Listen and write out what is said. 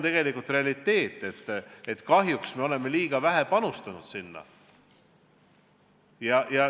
Tegelikult on realiteet, et kahjuks me oleme liiga vähe panustanud sinna.